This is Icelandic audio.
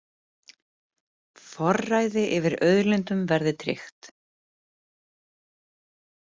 Forræði yfir auðlindum verði tryggt